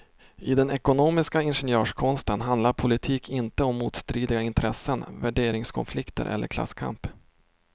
I den ekonomistiska ingenjörskonsten handlar politik inte om motstridiga intressen, värderingskonflikter eller klasskamp.